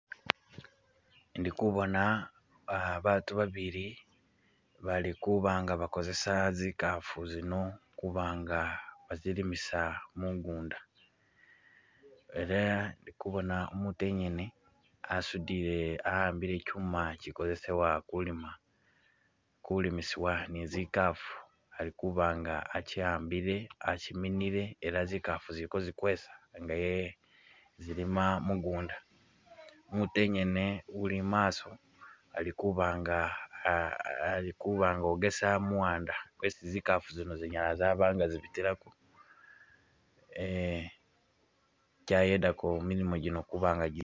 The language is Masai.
Indi kubona ah batu babili bali kuba'nga bakozesa zikafu zino kuba'nga bazilimisa mugunda, ela ndi kubona umutu enyene asudile a'ambile kyuma kyikozesebwa kulima, kulimisibwa ni zikafu alikuba nga akyi a'mbile akyiminile ela zikafu zili kozikwesa nga ye zilima mugunda, mutu engene uli mumaso ali kuba'nga ah ah ali kuba' nga ogesa muwanda kwesi zikafu zino zinyala zabanga zibitilako, eh kyayedaako milimo gyino kuba'nga gyi